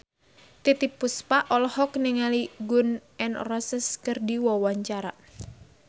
Titiek Puspa olohok ningali Gun N Roses keur diwawancara